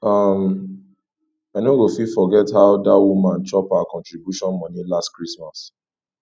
um i no go fit forget how dat woman chop our contribution moni last christmas